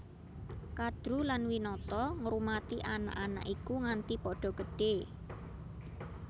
Kadru lan Winata ngrumati anak anak iku nganti padha gedhé